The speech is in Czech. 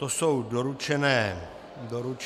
To jsou doručené omluvy.